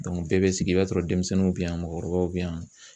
bɛɛ bɛ sigi i b'a sɔrɔ denmisɛnninw bɛ yan mɔgɔkɔrɔbaw bɛ yan.